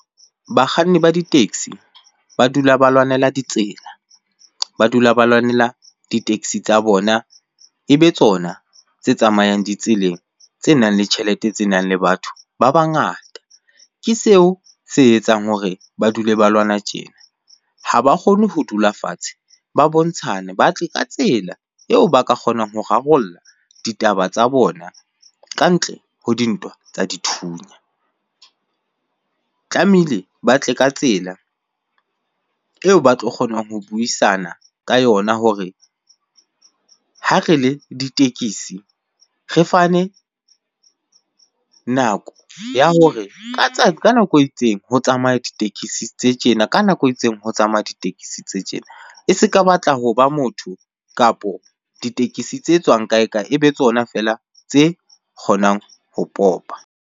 Bakganni ba di-taxi ba dula ba lwanela ditsela, ba dula ba lwanela di-taxi tsa bona e be tsona tse tsamayang ditseleng tse nang le tjhelete tse nang le batho ba bangata. Ke seo se etsang hore ba dule ba lwana tjena. Ha ba kgone ho dula fatshe ba bontshana ba tle ka tsela eo ba ka kgonang ho rarolla ditaba tsa bona ka ntle ho dintwa tsa dithunya. Tlamehile ba tle ka tsela eo ba tlo kgonang ho buisana ka yona hore ha re le ditekisi re fane nako ya hore ka nako e itseng ho tsamaya ditekesi tse tjena ka nako e itseng ho tsamaya ditekesi tse tjena. e seka batla ho ba motho kapo ditekesi tse tswang kae kae, e be tsona feela tse kgonang ho popa.